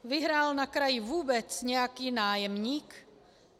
Vyhrál na kraji vůbec nějaký nájemník?